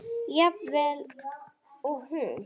Jafn vel og hún?